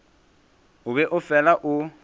o be o fela o